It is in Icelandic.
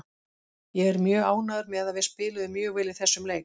Ég er mjög ánægður með að við spiluðum mjög vel í þessum leik